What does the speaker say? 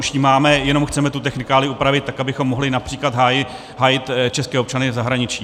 Už ji máme, jenom chceme tu technikálii upravit tak, abychom mohli například hájit české občany v zahraničí.